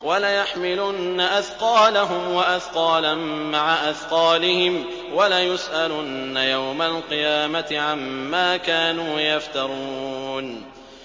وَلَيَحْمِلُنَّ أَثْقَالَهُمْ وَأَثْقَالًا مَّعَ أَثْقَالِهِمْ ۖ وَلَيُسْأَلُنَّ يَوْمَ الْقِيَامَةِ عَمَّا كَانُوا يَفْتَرُونَ